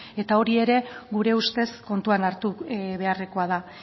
hori ere gure ustez kontuan hartu beharrekoa da